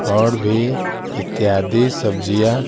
और भी इत्यादि सब्जियां--